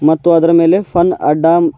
ಮತ್ತು ಅದರ ಮೇಲೆ ಫನ್ ಅಡ್ಡ--